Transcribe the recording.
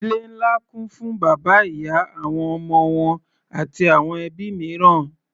Ìdílé ńlá kún fún bàbá, ìyá, àwọn ọmọ wọn àti àwọn ẹbí mìíràn.